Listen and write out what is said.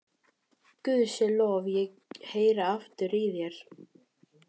BAUJA: Guði sé lof, ég heyri aftur í þér!